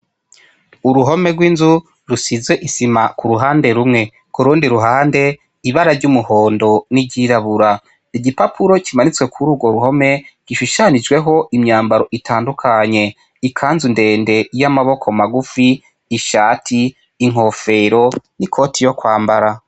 Uruhome rw'inzu rusize isima kuruhande rumwe, kurundi ruhande, ibara ry'umuhondo n'iryiirabura. Igipapuro kimanitse kururwo ruhome gishushanijeko imyambaro itandukanye: ikanzu ndende y'amaboko magufi, ishati, inkofero, ikoti yo kwambara.